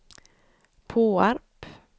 Påarp